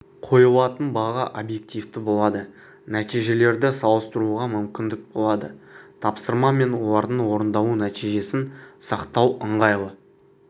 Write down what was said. қойылатын баға объективті болады нәтижелерді салыстыруға мүмкіндік болады тапсырма мен олардың орындалу нәтижесін сақтау ыңғайлы